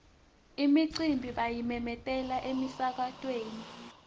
imicimbi bayimemetela emsakatweni